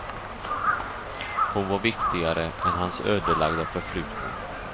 Hon var viktigare än hans ödelagda förflutna.